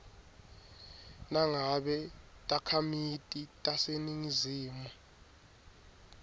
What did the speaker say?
nangabe takhamiti taseningizimu